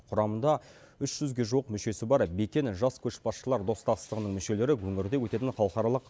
құрамында үш жүзге жуық мүшесі бар бекен жас көшбасшылар достастығының мүшелері өңірде өтетін халықаралық